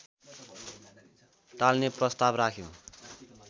टाल्ने प्रस्ताव राख्यो